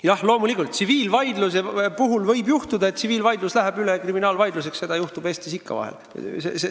Jah, loomulikult võib tsiviilvaidluse puhul juhtuda, et tsiviilvaidlus läheb üle kriminaalvaidluseks, seda juhtub Eestis ikka vahel.